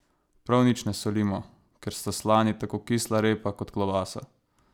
Prav nič ne solimo, ker sta slani tako kisla repa kot klobasa.